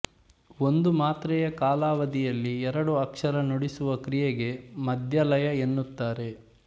ಒಂದು ಮಾತ್ರೆ ಯಾ ಕಾಲಾವಧಿಯಲ್ಲಿ ಎರಡು ಅಕ್ಷರ ನುಡಿಸುವ ಕ್ರಿಯೆಗೆ ಮದ್ಯ ಲಯ ಎನ್ನುತ್ತಾರೆ